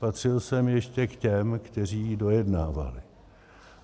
Patřil jsem ještě k těm, kteří ji dojednávali.